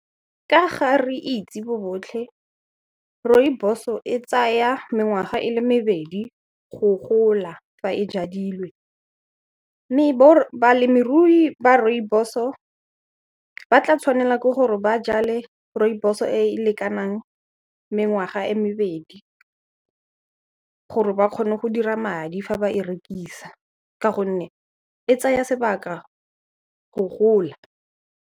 Ka ga re itse bo botlhe, Rooibos-o e tsaya mengwaga e le mebedi go gola fa e jadilwe, mme balemirui ba Rooibos-o ba tla tshwanela ke gore ba jale Rooibos-o e e lekanang mengwaga e mebedi gore ba kgone go dira madi fa ba e rekisa ka gonne e tsaya sebaka go gola.